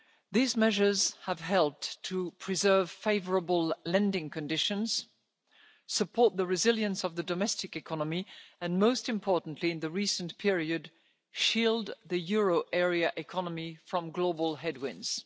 These measures have helped to preserve favourable lending conditions, support the resilience of the domestic economy and most importantly in the recent period shield the euro area economy from global headwinds.